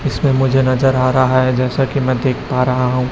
इसमें मुझे नजर आ रहा है जैसा कि मैं देख पा रहा हूं।